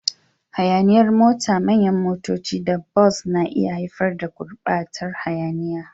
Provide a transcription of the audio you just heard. Hayaniyar mota, manyan motoci, da bas na iya haifar da gurɓatar hayaniya.